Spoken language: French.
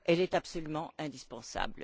Elle est absolument indispensable.